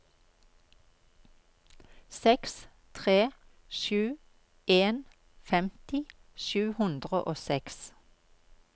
seks tre sju en femti sju hundre og seks